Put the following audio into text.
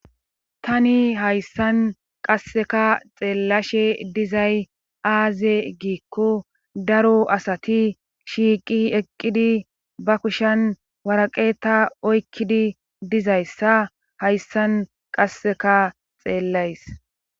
tani hayssan qasseka xeellashe dizay aaze giikko daro asati shiiqi eqqidi ba kushan waraqeta oykkidi dizayssa hayssan qasseka xeellays